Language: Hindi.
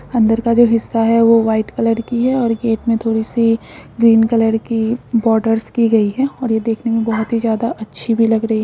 अंदर का हिस्सा जो है वो व्हाइट कलर की है। गेट मे थोड़ी-सी ग्रीन कलर की बोडर्स की गयी है और देखने में बोहत ही ज्यादा अच्छी भी लग रही है ।